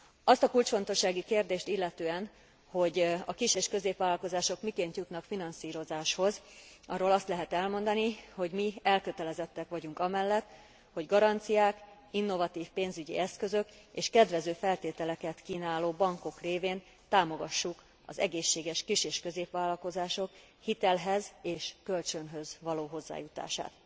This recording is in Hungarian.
Azt a kulcsfontosságú kérdést illetően, hogy a kis és középvállalkozások miként jutnak finanszírozáshoz, arról azt lehet elmondani, hogy mi elkötelezettek vagyunk amellett, hogy garanciák, innovatív pénzügyi eszközök és kedvező feltételeket kínáló bankok révén támogassuk az egészséges kis és középvállalkozások hitelhez és kölcsönhöz való hozzájutását.